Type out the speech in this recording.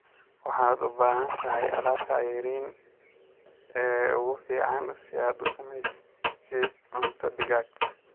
Waxaad u baahan tahay alaabta ceeriin ee ugu fiican si aad u sameysid cunto digaag.